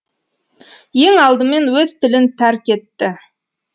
ең алдымен өз тілін тәрк етті